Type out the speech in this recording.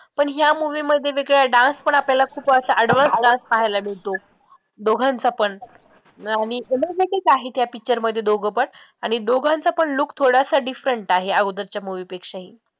पण ह्या movie मध्ये वेगळा dance पण खूप असा advance dance पाहायला मिळतो दोघांचा पण आणि आहे या picture मध्ये दोघं पण आणि दोघांचा पण look थोडासा different आहे, अगोदरच्या movie पेक्षाही